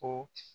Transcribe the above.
Ko